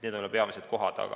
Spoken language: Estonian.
Need on need peamised kohad.